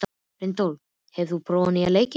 Reinhold, hefur þú prófað nýja leikinn?